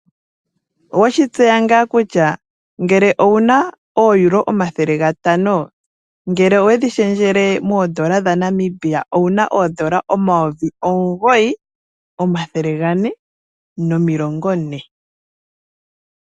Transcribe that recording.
Oweshi tseya ngaa kutya ngele owuna oEuro omathele gatano, ngele owedhi shendjele moodola dhaNamibia owuna oodola omayovi omugoyi omathele gane nomilongo ne?